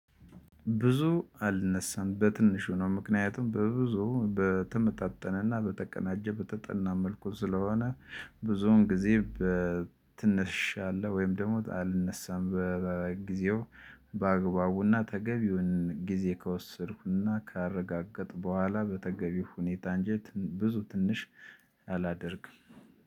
ብዙ አልነሳም በትንሹ ነው ምክንያቱም በብዙ በተመጣጠነና በተቀናጀ በተጠና መልኩ ስለሆነ። ብዙውን ጊዜ በትንሽ አለ ወይም ደግሞ አልነሳም በጊዜው። በአግባቡና ተገቢውን ጊዜ ከወሰድኩና ካረጋገጥኩ በኋላ በተገቢው ሁኔታ እንጂ ብዙ ትንሽ አላደርግም።